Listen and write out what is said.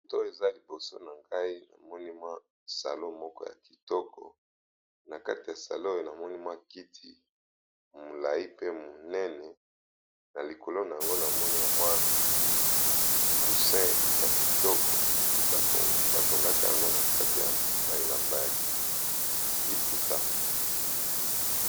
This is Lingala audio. moto eza liboso na ngai na moni mwa salo moko ya kitoko na kati ya salo oyo na moni mwa kiti molai pe monene na likolo na yango na moni bamwa cousin ya kitoko batongaka yango na kati ya baelamba ya liputa